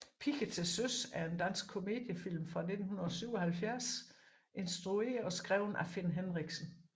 Piger til søs er en dansk komediefilm fra 1977 instrueret og skrevet af Finn Henriksen